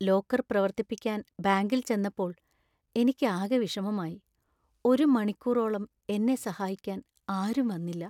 Locker പ്രവർത്തിപ്പിക്കാൻ ബാങ്കിൽ ചെന്നപ്പോൾ എനിക്കാകെ വിഷമമായി , ഒരു മണിക്കൂറോളം എന്നെ സഹായിക്കാൻ ആരും വന്നില്ല.